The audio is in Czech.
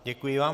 Děkuji vám.